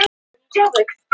Auðvitað var það ekki pabbi!